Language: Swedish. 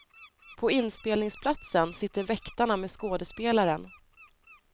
På inspelningsplatsen sitter väktarna med skådespelaren.